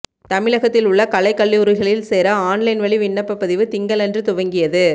தமிழகத்தில் உள்ள கலைக்கல்லூரிகளில் சேர ஆன்லைன் வழி விண்ணப்பப்பதிவு திங்களன்று துவங்கியது